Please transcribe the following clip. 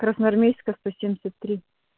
красноармейская сто семьдесят три